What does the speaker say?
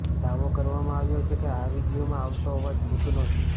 દાવો કરવામાં આવ્યો છે કે આ વીડિયોમાં આવતો અવાજ ભૂતનો છે